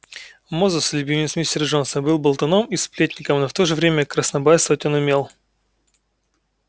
мозус любимец мистера джонса был болтуном и сплетником но в то же время краснобайствовать он умел